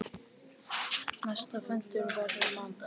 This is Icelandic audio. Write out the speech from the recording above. Næsti fundur verður á mánudag.